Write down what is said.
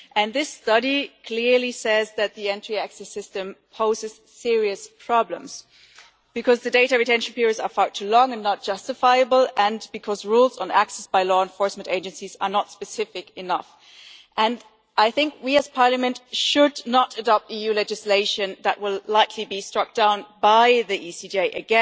That study says clearly that the entry exit system poses serious problems because the data retention periods are far too long and not justifiable, and because rules on access by law enforcement agencies are not specific enough and I think that we as Parliament should not adopt EU legislation that will likely be struck down again by the Court.